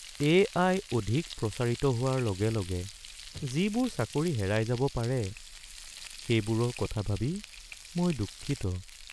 AI. অধিক প্ৰচাৰিত হোৱাৰ লগে লগে যিবোৰ চাকৰি হেৰাই যাব পাৰে সেইবোৰৰ কথা ভাবি মই দুঃখিত।